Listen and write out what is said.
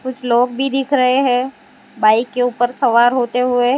कुछ लोग भी दिख रहे हैं बाइक के ऊपर सवार होते हुए।